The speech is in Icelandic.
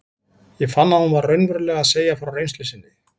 Ég fann að hún var raunverulega að segja frá reynslu sinni.